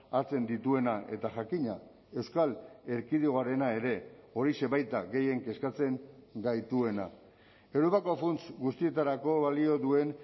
hartzen dituena eta jakina euskal erkidegoarena ere horixe baita gehien kezkatzen gaituena europako funts guztietarako balio duen